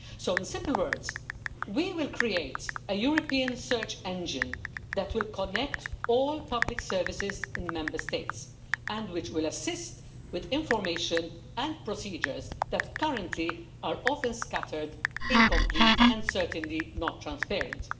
In simple words, we will create a European search engine which will connect all public services in Member States and will assist with information and procedures that currently are often scattered, incomplete and certainly not transparent.